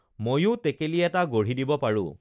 মইয়ো টেকেলি এটা গঢ়ি দিব পাৰোঁ